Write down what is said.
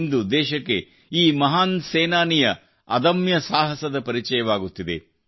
ಇಂದು ದೇಶಕ್ಕೆ ಈ ಮಹಾನ್ ಸೇನಾನಿಯ ಅದಮ್ಯ ಸಾಹಸದ ಪರಿಚಯವಾಗುತ್ತಿದೆ